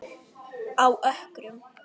Á Ökrum